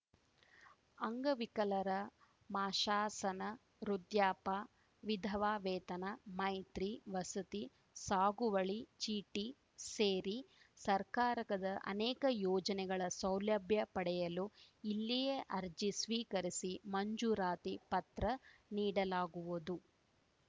ಅಂಗವಿಕಲರ ಮಾಶಾಶನ ವೃದ್ಯಾಪ ವಿಧವಾ ವೇತನ ಮೈತ್ರಿ ವಸತಿ ಸಾಗುವಳಿ ಚೀಟಿ ಸೇರಿ ಸರ್ಕಾರದ ಅನೇಕ ಯೋಜನೆಗಳ ಸೌಲಭ್ಯ ಪಡೆಯಲು ಇಲ್ಲಿಯೇ ಅರ್ಜಿ ಸ್ವೀಕರಿಸಿ ಮಂಜೂರಾತಿ ಪತ್ರ ನೀಡಲಾಗುವುದು